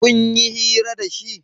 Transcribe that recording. Kunyi hira da shi?